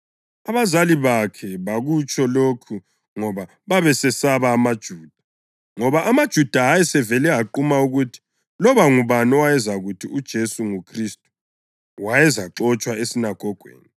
Abazali bakhe bakutsho lokhu ngoba babesesaba amaJuda, ngoba amaJuda ayesevele aquma ukuthi loba ngubani owayezakuthi uJesu nguKhristu wayezaxotshwa esinagogweni.